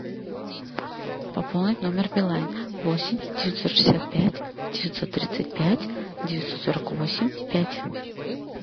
пополнить номер билайн восемь девятьсот шестьдесят пять девятьсот тридцать пять девятьсот сорок восемь пять